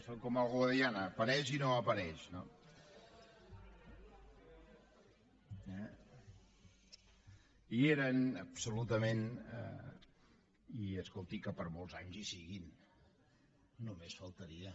són com el guadiana apareix i no apareix no hi eren absolutament i escolti que per molts anys hi siguin només faltaria